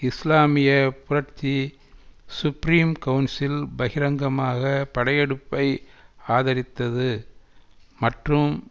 இஸ்லாமிய புரட்சி supreme council பகிரங்கமாக படையெடுப்பை ஆதரித்தது மற்றும்